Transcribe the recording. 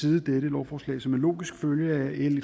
side dette lovforslag som en logisk følge af l